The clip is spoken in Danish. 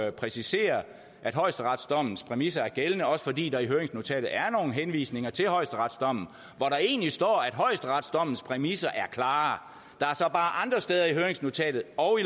at præcisere at højesteretsdommens præmisser er gældende også fordi der i høringsnotatet er nogle henvisninger til højesteretsdommen hvor der egentlig står at højesteretsdommens præmisser er klare andre steder i høringsnotatet og